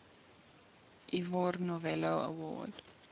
ivor novello award